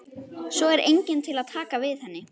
Svo er enginn til að taka við henni.